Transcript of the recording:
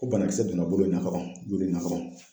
Ko banakisɛ donna bolo in na ka ban, bolo in la ka ban.